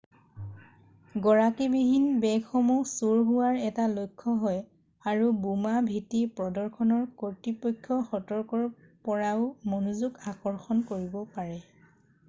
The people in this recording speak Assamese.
গৰাকীবিহীন বেগসমূহ চুৰ হোৱাৰ এটা লক্ষ্য হয় আৰু বোমা ভীতি প্ৰদৰ্শনৰ কৰ্তৃপক্ষ সতৰ্কৰ পৰাও মনোযগ আকৰ্ষণ কৰিব পাৰে৷